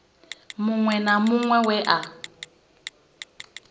muṅwe na muṅwe we a